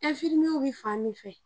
Enfimiye bɛ fan min fɛ.